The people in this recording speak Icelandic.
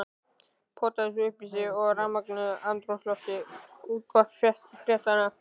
Pota þessu upp í sig í rafmögnuðu andrúmslofti útvarpsfréttanna.